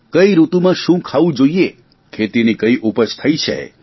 કઇ ઋતુમાં શું ખાવું જોઇએ ખેતીની કઇ ઉપજ થઇ છે